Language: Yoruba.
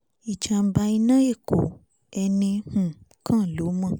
ìjàḿbà iná ẹ̀kọ́ ẹnì um kan ló mọ̀